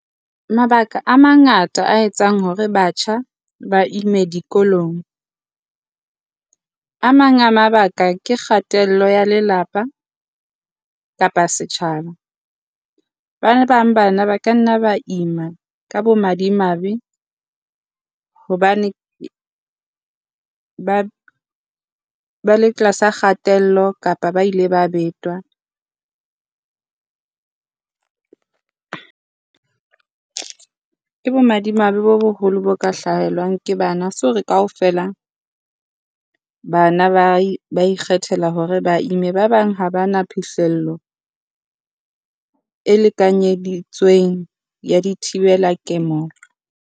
Mabaka a mangata a etsang hore batjha ba ime dikolong. A mang a mabaka ke kgatello ya lelapa kapa setjhaba. Ba bang bana ba ka nna ba ima ka bomadimabe hobane ba le tlasa kgatello kapa ba ile ba betwa. Ke bomadimabe bo boholo bo ka hlahelwang ke bana, ha se hore kaofela bana ba ikgethela hore ba ime. Ba bang ha ba na phihlello e lekanyeditsweng ya di thibela ke mo .